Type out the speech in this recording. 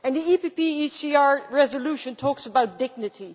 The PPE ECR resolution talks about dignity.